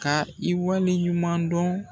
Ka i wale ɲuman dɔn